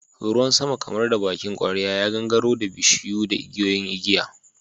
Ruwan sama kamar da bakin kwarya ya gangaro da bishiyu da igiyoyin igiya.